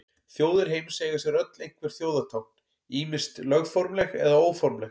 Þjóðir heims eiga sér öll einhver þjóðartákn, ýmist lögformleg eða óformleg.